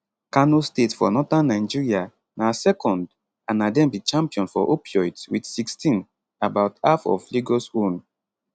kano state for northern nigeria na second and na dem be champion for opioids wit 16 about half of lagos own